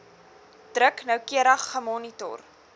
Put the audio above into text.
druk noukeurig gemonitor